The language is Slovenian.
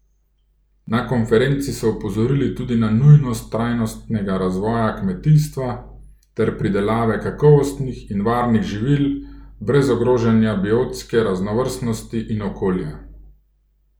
Na konferenci so opozorili tudi na nujnost trajnostnega razvoja kmetijstva ter pridelave kakovostnih in varnih živil brez ogrožanja biotske raznovrstnosti in okolja.